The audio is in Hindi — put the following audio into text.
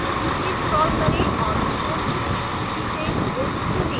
नीचे scroll करें और resources की सूची से book चुनें